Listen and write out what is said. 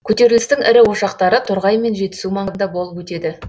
көтерілістің ірі ошақтары торғай мен жетісу маңында болып өтеді